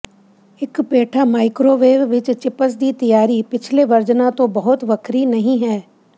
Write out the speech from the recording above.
ਇੱਕ ਪੇਠਾ ਮਾਈਕ੍ਰੋਵੇਵ ਵਿੱਚ ਚਿਪਸ ਦੀ ਤਿਆਰੀ ਪਿਛਲੇ ਵਰਜਨਾਂ ਤੋਂ ਬਹੁਤ ਵੱਖਰੀ ਨਹੀਂ ਹੈ